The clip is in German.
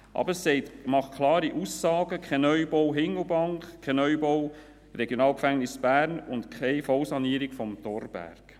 Aber er macht klare Aussagen: keinen Neubau in Hindelbank, keinen Neubau des RG Bern und keine Vollsanierung des Thorbergs.